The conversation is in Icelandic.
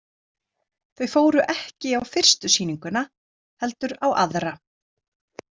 Þau fóru ekki á fyrstu sýninguna, heldur á aðra.